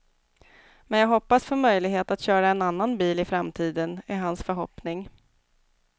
Men jag hoppas få möjlighet att köra en annan bil i framtiden, är hans förhoppning.